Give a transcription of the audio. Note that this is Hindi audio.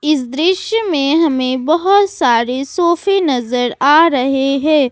इस दृश्य में हमें बहोत सारे सोफे नज़र आ रहे हैं।